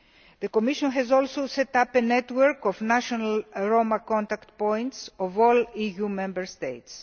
The Commission has also set up a network of national Roma contact points in all EU Member States.